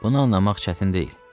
Bunu anlamaq çətin deyil.